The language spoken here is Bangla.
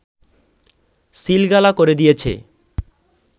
সিলগালা করে দিয়েছে